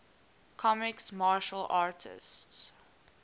comics martial artists